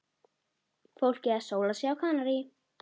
Fólkið að sóla sig á Kanarí.